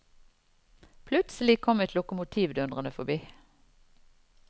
Plutselig kom et lokomotiv dundrende forbi.